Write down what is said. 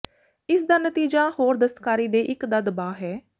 ਇਸ ਦਾ ਨਤੀਜਾ ਹੋਰ ਦਸਤਕਾਰੀ ਤੇ ਇੱਕ ਦਾ ਦਬਾਅ ਹੈ